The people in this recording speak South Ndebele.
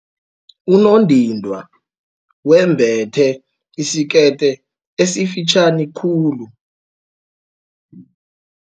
Unondindwa wembethe isikete esifitjhani khulu.